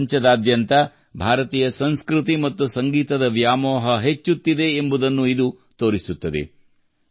ಪ್ರಪಂಚದಾದ್ಯಂತ ಭಾರತೀಯ ಸಂಸ್ಕೃತಿ ಮತ್ತು ಸಂಗೀತದ ವ್ಯಾಮೋಹ ಹೆಚ್ಚುತ್ತಿದೆ ಎಂಬುದನ್ನು ಇದು ತೋರಿಸುತ್ತದೆ